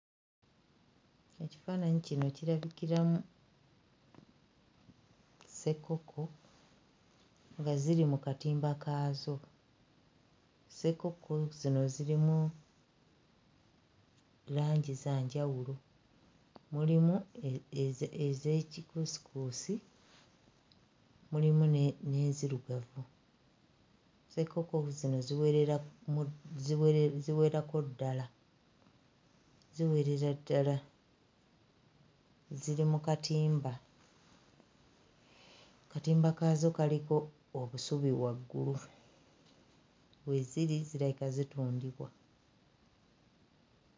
Ekifaananyi kino kirabikiramu ssekkokko nga ziri ku katimba kaazo. Ssekkokko zino zirimu langi za njawulo; mulimu e eze... ez'ekikuusikuusi, mulimu ne n'enzirugavu. Ssekkokko zino ziweramu ziwere ziwererako ddala, ziwerera ddala, ziri mu katimba, akatimba kaazo kaliko obusubi waggulu. We ziri zirabika zitundibwa.